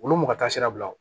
Olu mɔgɔ ka taa sira bila o